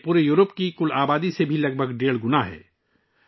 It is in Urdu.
یہ پورے یورپ کی کل آبادی سے تقریباً ڈیڑھ گنا زیادہ ہے